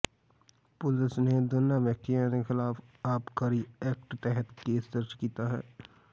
ਪੁਲਸ ਨੇ ਦੋਨਾਂ ਵਿਅਕਤੀਆਂ ਦੇ ਖਿਲਾਫ਼ ਆਬਕਾਰੀ ਐਕਟ ਤਹਿਤ ਕੇਸ ਦਰਜ ਕੀਤਾ ਹੈ